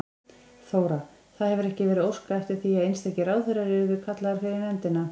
Þóra: Það hefur ekki verið óskað eftir því að einstakir ráðherrar yrðu kallaðir fyrir nefndina?